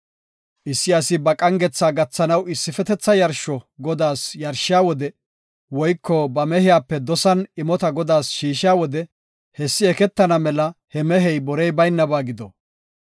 “Issi asi ba qangetha gathanaw issifetetha yarsho Godaas yarshiya wode woyko ba mehiyape dosan imota Godaas shiishiya wode hessi eketana mela he mehey borey baynaba gido.